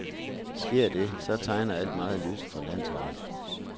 Sker det, så tegner alt meget lyst for landsholdet.